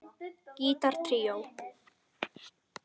Gítar tríó